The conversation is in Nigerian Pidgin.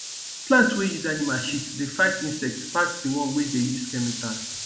plant wey use animal shit dey fight insect pass the one wey dey use chemical